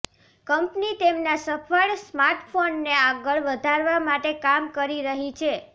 company તેમના સફળ સ્માર્ટફોનને આગળ વધારવા માટે કામ કરી રહી છે